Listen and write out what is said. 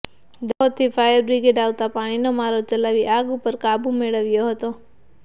દાહોદથી fire brigade આવતા પાણીનો મારો ચલાવી આગ ઉપર કાબૂ મેળવ્યો હતો